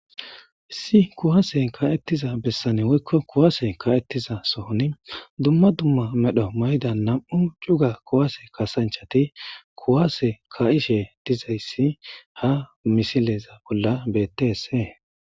issi kuwase ka7ettiza bessane woykko kuwaase ka7ettiza sohoni dumma dumma medho mayda nam7u cuga kuwase kasanchati kuwase ka7ishe dizayssi ha misileza bolla bettesee